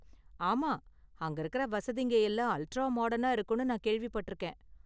ஆமா, அங்க இருக்குற வசதிங்க எல்லாம் அல்ட்ரா மாடர்னா இருக்கும்னு நான் கேள்விப்பட்டிருக்கேன்.